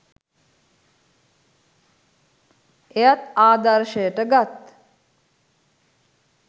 එයත් ආදර්ශයට ගත්